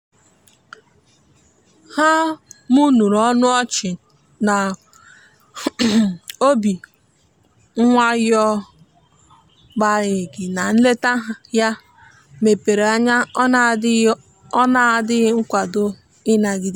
ha mụrụ ọnụ ochi na obi nwayon'agbanyeghi na nleta ya mepere ọnya ọ na adighi ọ na adighi nkwado ị nagide.